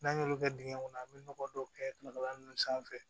N'an y'olu kɛ dingɛ kɔnɔ an bɛ nɔgɔ dɔw kɛkaba ninnu sanfɛ